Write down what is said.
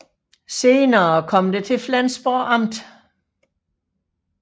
Senere kom det til Flensborg Amt